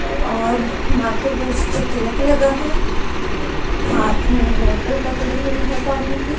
और माथे पे उसके तिलक लगा है हाथ मे बॉटल पकड़ी हुई है पानी की।